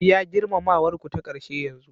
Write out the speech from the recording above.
Biya girmamawar ku ta ƙarshe yanzu